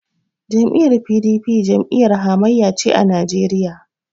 Jam'iyyar PDP jam'iyyar hamayya ce a Najeriya.